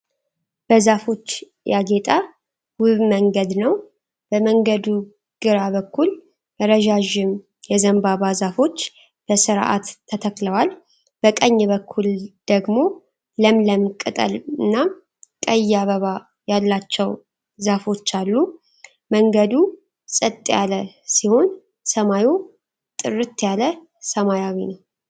በዛፎች ያጌጠ ውብ መንገድ ነው። በመንገዱ ግራ በኩል ረዣዥም የዘንባባ ዛፎች በስርዓት ተተክለዋል። በቀኝ በኩል ደግሞ ለምለም ቅጠል እና ቀይ አበባ ያላቸው ዛፎች አሉ። መንገዱ ጸጥ ያለ ሲሆን፣ ሰማዩ ጥርት ያለ ሰማያዊ ነው።